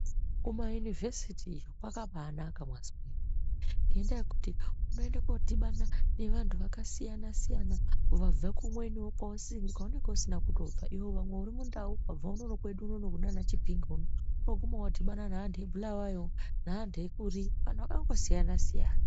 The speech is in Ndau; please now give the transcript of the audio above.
Kuma univhesiti kwakabanaka mazwa ngenda yekuti munoenda kodhibana neantu akasiyana siyana vabva kumweni iwe kwaunenge usina kubva pamwe uri mundau wabva unono kwedu kunana chipinge ndopaunodhibana neantu ebulawoyo neantu ekuri anhu akangosiyana siyana.